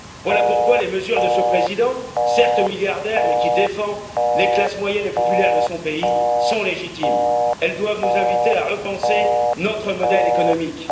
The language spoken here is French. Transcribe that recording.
Voilà pourquoi les mesures de ce président, certes milliardaire, mais qui défend les classes moyennes et populaires de son pays, sont légitimes. Elles doivent nous inviter à repenser notre modèle économique.